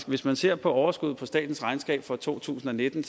hvis man ser på overskuddet på statens regnskab for to tusind og nitten